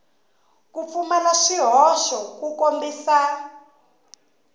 ku pfumala swihoxo ku kombisa